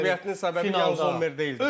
Interin məğlubiyyətinin səbəbi Yan Zommer deyildi.